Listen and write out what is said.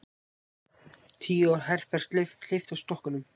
Tíu ára herferð hleypt af stokkunum